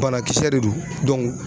Banakisɛ de do